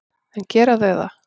En gera þau það?